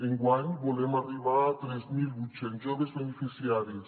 enguany volem arribar a tres mil vuit cents joves beneficiaris